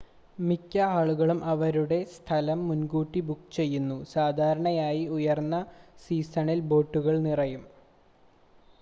മിക്ക ആളുകളും അവരുടെ സ്ഥലം മുൻ‌കൂട്ടി ബുക്ക് ചെയ്യുന്നു സാധാരണയായി ഉയർന്ന സീസണിൽ ബോട്ടുകൾ നിറയും